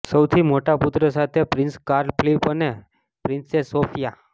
સૌથી મોટા પુત્ર સાથે પ્રિન્સ કાર્લ ફિલિપ અને પ્રિન્સેસ સોફિયા